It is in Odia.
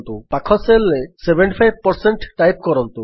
ପାଖ Cellରେ 75 ଟାଇପ୍ କରନ୍ତୁ